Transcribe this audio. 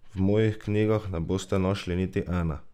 V mojih knjigah ne boste našli niti ene!